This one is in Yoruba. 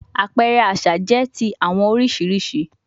Apẹrẹ aṣa jẹ ti awọn oriṣiriṣi oriṣiriṣi